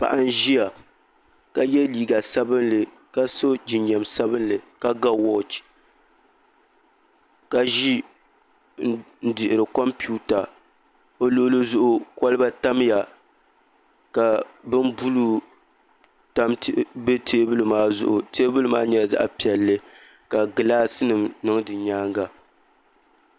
Paɣa n ʒiya ka yɛ liiga. Sabinli ka so jinjɛm sabinli ka ga wooch ka ʒi n dihiri kompiuta o luɣuli zuɣu kolba tamya ka bin bului bɛ teebuli maa zuɣu teebuli maa nyɛla zaɣ piɛlli ka gilaasi nim niŋ di nyaanga